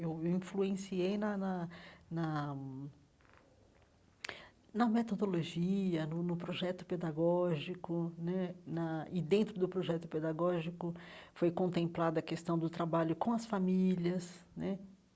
Eu influenciei na na na na metodologia, no no projeto pedagógico né, na e dentro do projeto pedagógico foi contemplada a questão do trabalho com as famílias né.